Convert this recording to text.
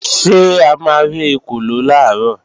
Ṣé a ma rí ekòló làárọ̀?